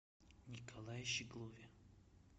николае щеглове